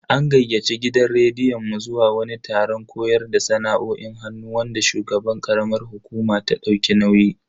An gayyaci gidan rediyon mu zuwa wani taron koyar da sana'o'in hannu wanda shugaban karamar hukuma ta dauki nauyi.